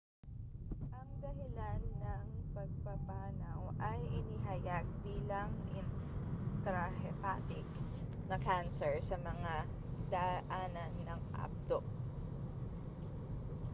ang dahilan ng pagpanaw ay inihayag bilang intrahepatic na kanser sa mga daanan ng apdo